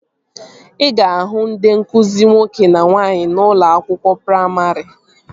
Ị ga-ahụ ndị nkụzi nwoke na nwaanyị n'ụlọ akwụkwọ praimarị